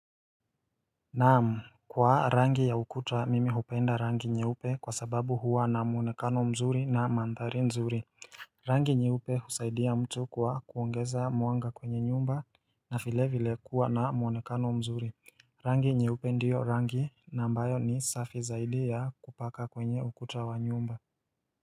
Naamu kwa rangi ya ukuta mimi hupenda rangi nye upe kwa sababu huwa na muonekano mzuri na mandhari nzuri Rangi nyeupe husaidia mtu kwa kuongeza muanga kwenye nyumba na file vile kuwa na muonekano mzuri Rangi nye upe ndiyo rangi na ambayo ni safi zaidi ya kupaka kwenye ukuta wa nyumba.